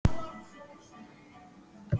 Litlu börnin róa kort.